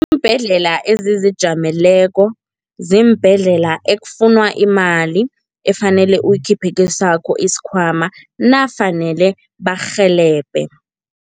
Iimbhedlela ezizijameleko ziimbhedlela ekufunwa imali efanele uyikhiphe kesakho isikhwama, nafanele bakurhelebhe.